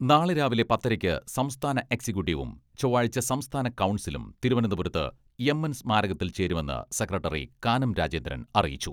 നാളെ രാവിലെ പത്തരക്ക് സംസ്ഥാന എക്സിക്യൂട്ടീവും, ചൊവ്വാഴ്ച സംസ്ഥാന കൗൺസിലും തിരുവനന്തപുരത്ത് എം എൻ സ്മാരകത്തിൽ ചേരുമെന്ന് സെക്രട്ടറി കാനം രാജേന്ദ്രൻ അറിയിച്ചു.